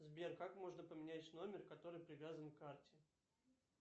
сбер как можно поменять номер который привязан к карте